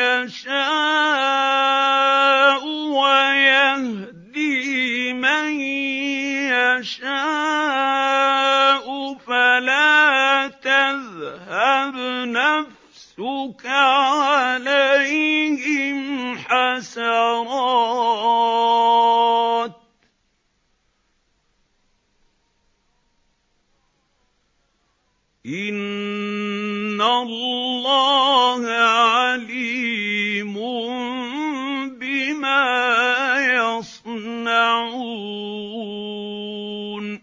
يَشَاءُ وَيَهْدِي مَن يَشَاءُ ۖ فَلَا تَذْهَبْ نَفْسُكَ عَلَيْهِمْ حَسَرَاتٍ ۚ إِنَّ اللَّهَ عَلِيمٌ بِمَا يَصْنَعُونَ